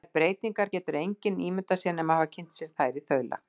Þær breytingar getur engin ímyndað sér nema að hafa kynnt sér þær í þaula.